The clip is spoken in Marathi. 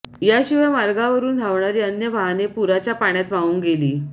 याशिवाय मार्गावरून धावणारी अन्य वाहने पुराच्या पाण्यात वाहून गेली